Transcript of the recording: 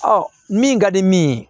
min ka di min ye